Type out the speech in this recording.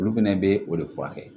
Olu fɛnɛ bɛ o de furakɛ